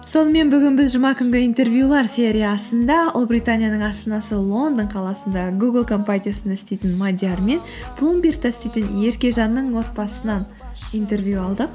сонымен бүгін біз жұма күнгі интервьюлар сериясында ұлыбританияның астанасы лондон қаласында гугл компаниясында істейтін мадиар мен блумбергта істейтін еркежанның отбасысынан интервью алдық